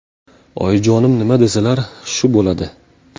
Oyijonim nima desalar, shu bo‘ladi.